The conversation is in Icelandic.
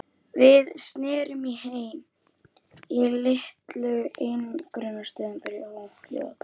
Við snerum heim- í litlu einangrunarstöðina fyrir óhljóð barna.